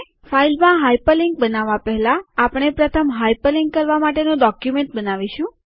file માં hyperlink બનાવવા પહેલાં આપણે પ્રથમ હાઇપરલિન્ક કરવા માટેનું ડોક્યુમેન્ટ બનાવીશું